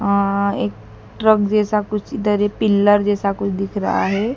आ एक ट्रक जैसा कुछ इधरी पिल्लर जैसा कुछ दिख रहा है।